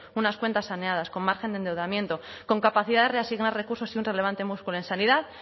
unas cuentas saneadas con margen de endeudamiento con capacidad de reasignar recursos y un relevante músculo en sanidad